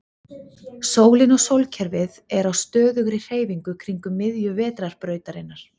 Sólin og sólkerfið er á stöðugri hreyfingu kringum miðju Vetrarbrautarinnar.